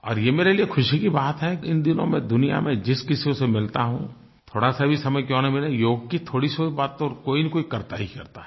और ये मेरे लिए खुशी की बात है कि इन दिनों मैं दुनिया में जिस किसी से मिलता हूँ थोड़ासा भी समय क्यों न मिले योग की थोड़ी सी बात तो कोई न कोई करता ही करता है